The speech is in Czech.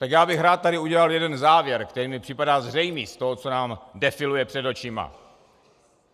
Tak já bych rád tady udělal jeden závěr, který mi připadá zřejmý z toho, co nám defiluje před očima.